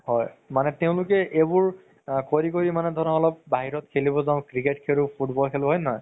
হয় মানে তেওলোকে এইবোৰ কৰি মানে ধৰা অলপ বাহিৰত খেলিব যাও cricket খেলো football খেলো হয় নে নহয়